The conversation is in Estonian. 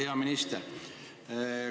Hea minister!